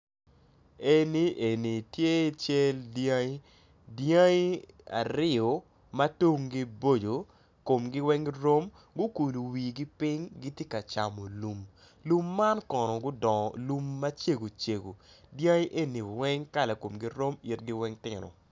Eni eni tye cal dyangi dyangi aryo ma tungi boco komgi weng rom gukulo wigi ping gitye ka camo lum lum man kono gudongo lum macego cego dyangi eni weng kala komgi rom itgi weng tino.